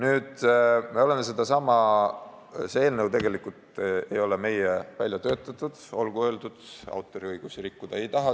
Olgu öeldud, et see eelnõu ei ole tegelikult meie väljatöötatud, autoriõigusi me rikkuda ei taha.